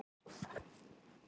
"""Nei, þá hafði Jón"""